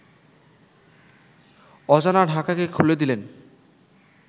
অজানা ঢাকাকে খুলে দিলেন